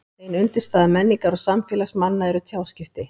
Ein undirstaða menningar og samfélags manna eru tjáskipti.